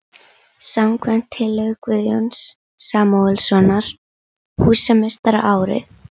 Örn gamli úrilli karl, Örn leiðindakerling, Örn fýlupoki.